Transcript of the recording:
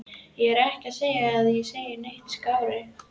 Ég er ekki að segja að ég sé neitt skárri.